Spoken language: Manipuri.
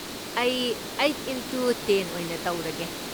ꯑꯩ ꯑꯩꯠ ꯢꯟꯇꯨ ꯇꯦꯟ ꯑꯣꯏꯅ ꯇꯧꯔꯒꯦ꯫